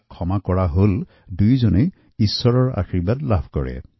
অৰ্থাৎ যিজনে ক্ষমা কৰিছে আৰু যাক ক্ষমা কৰা হৈছেউভয়েই ঈশ্বৰৰ আশীৰ্বাদ লাভ কৰে